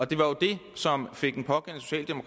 det var jo det som fik den pågældende